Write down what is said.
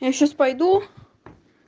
я сейчас пойду